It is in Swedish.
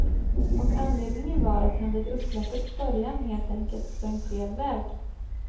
Och anledningen var att han vid upploppets början helt enkelt sprang fel väg.